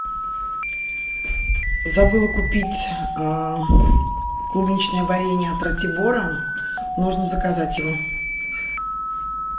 забыла купить клубничное варенье от ратибора нужно заказать его